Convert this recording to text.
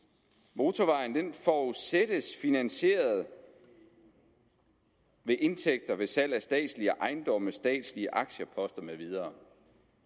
motorvejen forudsættes finansieret ved indtægter ved salg af statslige ejendomme statslige aktieposter med videre